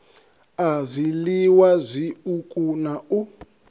a zwiliwa zwiuku na u